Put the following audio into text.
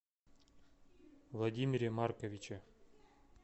владимире марковиче